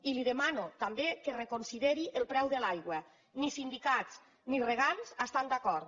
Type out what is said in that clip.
i li demano també que reconsideri el preu de l’aigua ni sindicats ni regants hi estan d’acord